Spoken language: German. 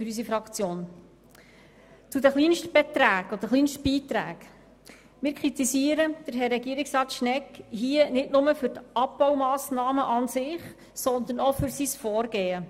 Zu den Kleinstbeträgen beziehungsweise weiteren Kürzungen auf Leistungsverträgen: Wir kritisieren Herrn Regierungsrat Schnegg hier nicht nur wegen den Abbaumassnahmen an und für sich, sondern auch wegen seines Vorgehens.